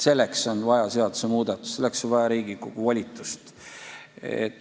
Selleks on vaja seaduse muutmist, selleks on vaja Riigikogu volitust.